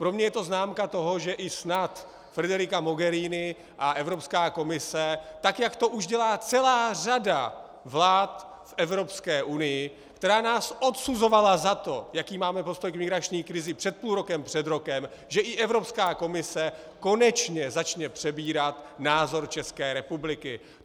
Pro mě je to známka toho, že i snad Federica Mogherini a Evropská komise, tak jak to už dělá celá řada vlád v Evropské unii, která nás odsuzovala za to, jaký máme postoj k migrační krizi před půl rokem, před rokem, že i Evropská komise konečně začne přebírat názor České republiky.